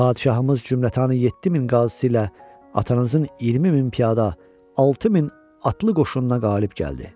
Padşahımız Cümlətanı 7000 qazisi ilə atanızın 20000 piyada, 6000 atlı qoşununa qalib gəldi.